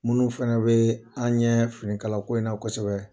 Munnu fɛnɛ bɛ an ɲɛ finikala ko in na kosɛbɛ